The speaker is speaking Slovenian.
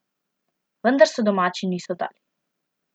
Vendar se domači niso dali.